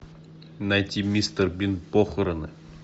найти мистер бин похороны